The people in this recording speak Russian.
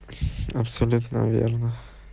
абсолютно верно